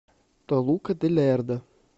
толука де лердо